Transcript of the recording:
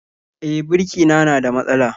E, birki na na da matsala